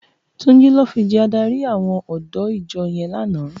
Tunji lò fi jè àdárí áwòn òdõ ijò yèn làná